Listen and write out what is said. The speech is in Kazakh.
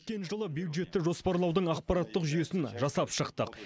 өткен жылы бюджетті жоспарлаудың ақпараттық жүйесін жасап шықтық